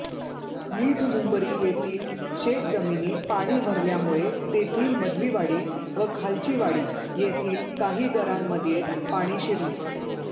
मिठमुंबरी येथील शेत जमिनीत पाणी भरल्यामुळे तेथील मधलीवाडी व खालचीवाडी येथील काही घरांमध्ये पाणी शिरले